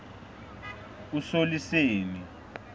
usoliseni